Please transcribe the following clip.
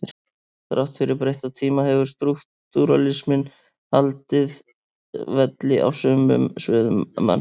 Þrátt fyrir breytta tíma hefur strúktúralisminn haldið velli á sumum sviðum mannfræði.